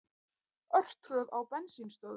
Örtröð á bensínstöðvum